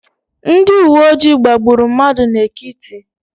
Ndị uwe ojii gbagburu mmadụ n'Ekiti.